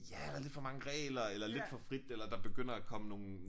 Ja eller lidt for mange regler eller lidt for frit eller der begynder at komme nogle